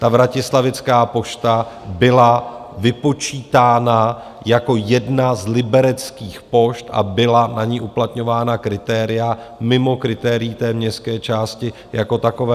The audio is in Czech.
Ta vratislavická pošta byla vypočítána jako jedna z libereckých pošt a byla na ni uplatňována kritéria mimo kritérií té městské části jako takové.